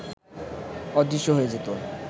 অদৃশ্য হয়ে যেতে